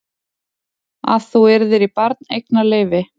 Að þú yrðir í barneignarleyfi.